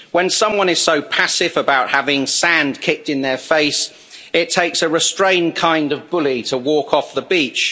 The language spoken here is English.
When someone is so passive about having sand kicked in their face, it takes a restrained kind of bully to walk off the beach.